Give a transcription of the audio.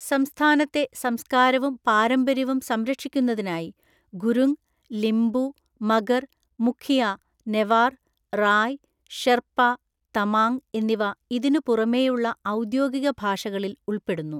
സംസ്ഥാനത്തെ സംസ്‌കാരവും പാരമ്പര്യവും സംരക്ഷിക്കുന്നതിനായി ഗുരുങ്, ലിംബു, മഗർ, മുഖിയ, നെവാർ, റായ്, ഷെർപ്പ, തമാങ് എന്നിവ ഇതിനുപുറമെയുള്ള ഔദ്യോഗിക ഭാഷകളിൽ ഉൾപ്പെടുന്നു.